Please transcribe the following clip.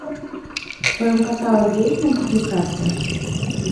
в твоем каталоге есть мультипликация